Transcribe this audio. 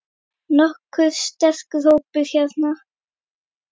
Nokkuð sterkur hópur hérna.